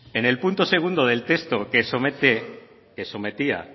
en el punto segundo del texto que sometía